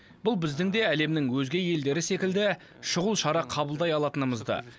бұл біздің де әлемнің өзге елдері секілді шұғыл шара қабылдай алатынымызды